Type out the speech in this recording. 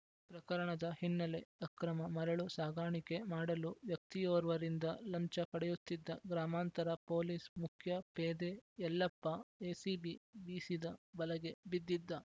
ಪ್ರಕರಣದ ಹಿನ್ನೆಲೆ ಅಕ್ರಮ ಮರಳು ಸಾಗಾಣಿಕೆ ಮಾಡಲು ವ್ಯಕ್ತಿಯೋರ್ವರಿಂದ ಲಂಚ ಪಡೆಯುತ್ತಿದ್ದ ಗ್ರಾಮಾಂತರ ಪೊಲೀಸ್‌ ಮುಖ್ಯ ಪೇದೆ ಯಲ್ಲಪ್ಪ ಎಸಿಬಿ ಬೀಸಿದ ಬಲೆಗೆ ಬಿದ್ದಿದ್ದ